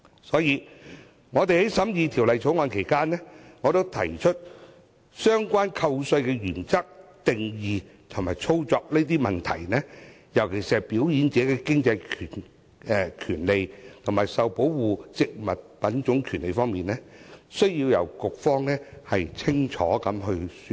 所以，在審議《條例草案》期間，我針對相關扣稅的原則、定義和操作等方面提出問題，尤其是"表演者的經濟權利"和"受保護植物品種權利"兩方面，局方需要清楚說明。